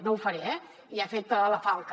no ho faré eh ja ha fet la falca